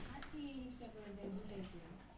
হাঁটি রিক্সায় করে যায় দুটাই করি।